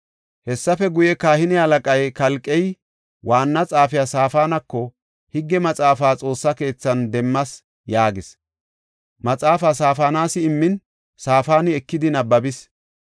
Hessafe guye, kahine halaqay Kalqey waanna xaafiya Saafanako, “Higge Maxaafa Xoossa keethan demmas” yaagis. Maxaafa Saafanas immin Safaani ekidi nabbabis.